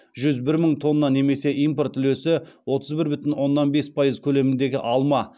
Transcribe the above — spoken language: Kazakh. жүз бір мың тонна немесе импорт үлесі отыз бір бүтін оннан бес пайыз көлеміндегі алма